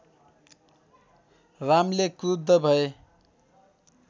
रामले क्रुद्ध भए